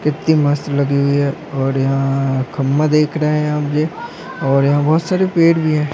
कितनी मस्त लगी हुई है और यहाँ खंबा देख रहे है हम ये और यहाँ बहुत सारे पेड़ भी है।